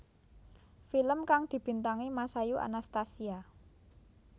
Film kang dibintangi Masayu Anastasia